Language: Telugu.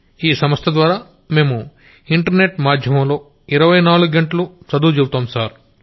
ఆ సంస్థ ద్వారా మేము ఇంటర్ నెట్ మాధ్యమంలో ఇరవై నాలుగ్గంటలూ చదువు చెబుతాం సర్